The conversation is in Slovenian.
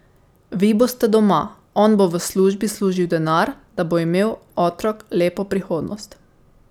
Vi boste doma, on bo v službi služil denar, da bo imel otrok lepo prihodnost.